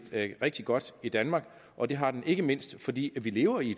det rigtig godt i danmark og det har den ikke mindst fordi vi lever i